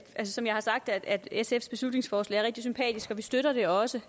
som jeg har sagt er sfs beslutningsforslag rigtig sympatisk og vi støtter det også